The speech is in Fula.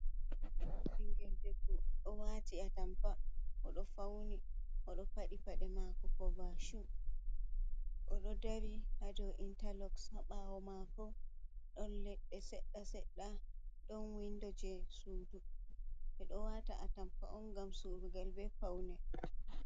Ɓingel debbo ɗo wati a tampa, o ɗo fauni, o ɗɗo paɗi paɗe mako ko bashu, o ɗo dari haa do intaloc, haa ɓawo mako ɗon leɗɗe sedɗa sedɗa, ɗon windo je sudu. Ɓe ɗo wata a tampa on ngam surugal be paune.